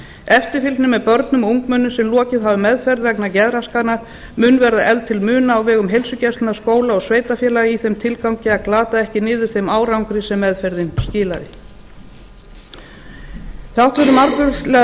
eftirfylgni með börnum og ungmennum sem lokið hafa meðferð vegna geðraskana mun verða efld til muna á vegum heilsugæslna skóla og sveitarfélaga í þeim tilgangi að glata ekki niður þeim árangri sem meðferðin skilaði þrátt fyrir margvíslega